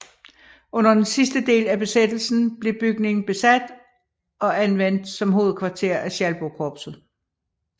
Under den sidste del af besættelsen blev bygningen besat og anvendt som hovedkvarter af Schalburgkorpset